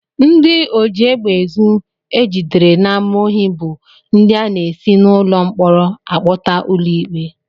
Ndị ojiegbeezu e jidere n'ámá ohi bụ ndị a na-esi n'ụlọ mkpọrọ akpọta ụlọikpe